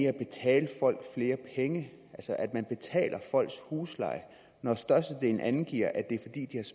at betale folk flere penge altså at man betaler folks husleje når størstedelen angiver at det